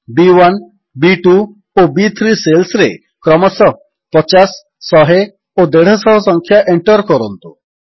B one B two ଓ ବି3 ସେଲ୍ସରେ କ୍ରମଶଃ 50100 ଓ 150 ସଂଖ୍ୟା ଏଣ୍ଟର୍ କରନ୍ତୁ